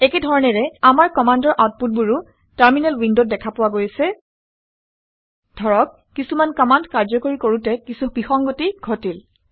একে ধৰণেৰে আমাৰ কামাণ্ডৰ আউটপুটবোৰ আউটপুটবোৰো টাৰমিনেল উইনদতও উইণ্ডত দেখা পোৱা গৈছে। ধৰক কিছুমান কামাণ্ড কাৰ্যকৰী কৰোঁতে কিছু বিসংগতি ঘটিল